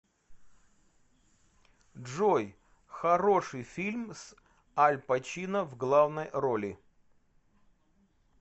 джой хороший фильм с аль пачино в главной роли